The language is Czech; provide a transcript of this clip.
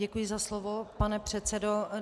Děkuji za slovo, pane předsedo.